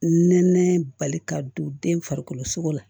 Nɛnɛ bali ka don den farikolo sogo la